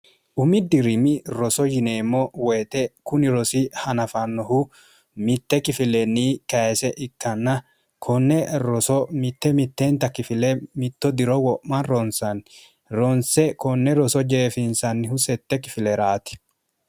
umi dirimi roso yineemmo woyite kuni rosi hanafannohu mitte kifileenni kayese ikkanna konne roso mitte mitteenta kifile mitto diro wo'ma ronsanni ronse konne roso jeefinsannihu sette kifileeraati